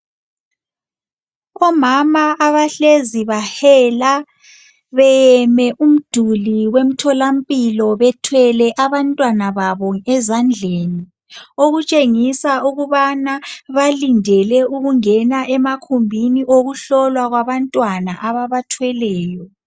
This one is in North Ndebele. Omama abahlezi bahela beyeme umduli wemtholampilo bethwele abantwana babo ezandleni, okutshengisa ukubana balindele ukungena emakhumbini abantwana ababathweleyo.